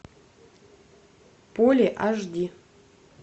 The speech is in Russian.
поле аш ди